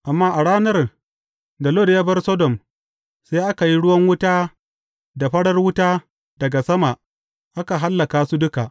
Amma a ranar da Lot ya bar Sodom, sai aka yi ruwan wuta da farar wuta daga sama, aka hallaka su duka.